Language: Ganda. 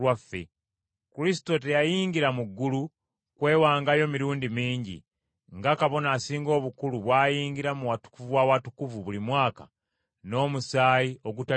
Kristo teyayingira mu ggulu kwewangayo mirundi mingi, nga Kabona Asinga Obukulu bw’ayingira mu Watukuvu w’Awatukuvu buli mwaka n’omusaayi ogutali gugwe,